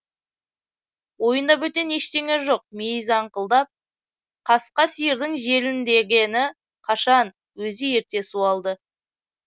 ойында бөтен ештеңе жоқ мейіз аңқылдап қасқа сиырдың желіндегені қашан өзі ерте суалды